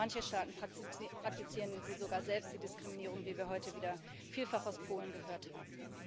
Manche Staaten praktizieren sie sogar selbst, die Diskriminierung, wie wir heute wieder vielfach aus Polen gehört haben.